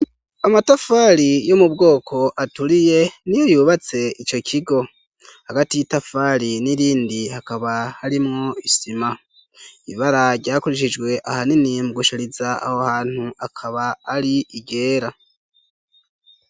amatafari yo mu bwoko aturiye niyo yubatse ico kigo hagati y'itafari n'irindi hakaba harimwo isima ibara ryakoreshejwe ahanini mu gushariza aho hantu akaba ari ryera